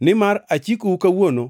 Nimar achikou kawuono